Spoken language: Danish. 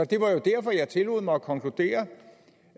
det var jo derfor jeg tillod mig at konkludere